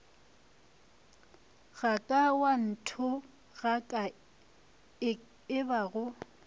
ga ka wa nthogaka ebago